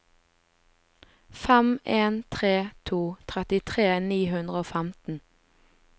fem en tre to trettitre ni hundre og femten